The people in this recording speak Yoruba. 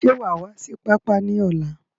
Ṣé wa wá sí pápá ni ọ̀la?